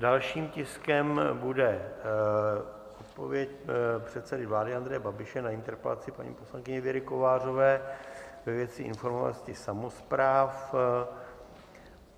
Dalším tiskem bude odpověď předsedy vlády Andreje Babiše na interpelaci paní poslankyně Věry Kovářové ve věci informovanosti samospráv.